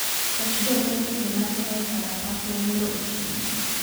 Gach jolweny oyudo masira e kalapakla nyoro otieno